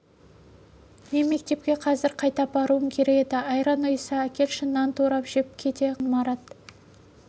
мен мектепке қазір қайта баруым керек еді айран ұйыса әкелші нан турап жеп кете қояйын марат